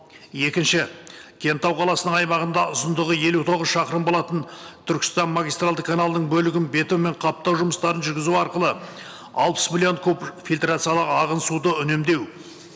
екінші кентау қаласының аймағында ұзындығы елу тоғыз шақырым болатын түркістан магистралды каналының бөлігін бетонмен қаптау жұмыстарын жүргізу арқылы алпыс миллион куб фильтрациялы ағын суды үнемдеу